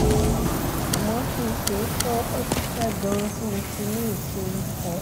wọ́n ṣe iṣẹ́ abẹ fún un ní oṣù márùn-ún sẹ́yìn